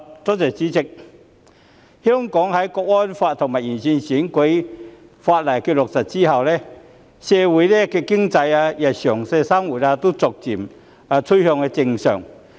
代理主席，香港在落實《香港國安法》和完善選舉法例後，社會經濟及日常生活逐漸趨向正常。